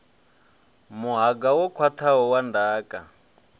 muhanga wo khwathaho wa ndaka